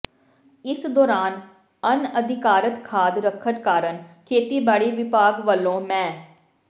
ਇਸ ਦੌਰਾਨ ਅਣਅਧਿਕਾਰਤ ਖਾਦ ਰੱਖਣ ਕਾਰਨ ਖੇਤੀਬਾੜੀ ਵਿਭਾਗ ਵੱਲੋਂ ਮੈ